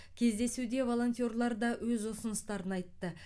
кездесуде волонтерлар да өз ұсыныстарын айтты